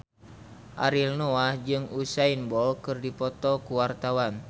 Ariel Noah jeung Usain Bolt keur dipoto ku wartawan